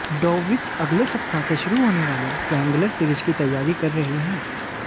Dowrich अगले सप्ताह से शुरू होने वाली ट्रायंगुलर सीरीज की तैयारी कर रहे हैं